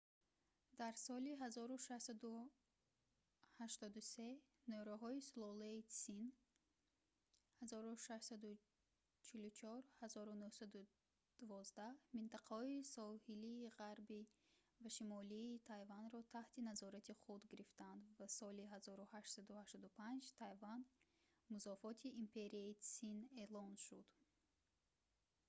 дар соли 1683 нерӯҳои сулолаи тсин 1644-1912 минтақаҳои соҳилии ғарбӣ ва шимолии тайванро таҳти назорати худ гирифтанд ва соли 1885 тайван музофоти империяи тсин эълон шуд